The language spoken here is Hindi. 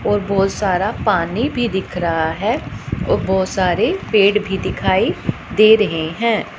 और बहोत सारा पानी भी दिख रहा है और बोहोत सारे पेड़ भी दिखाई दे रहे हैं।